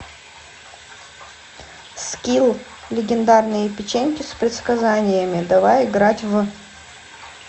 скилл легендарные печеньки с предсказаниями давай играть в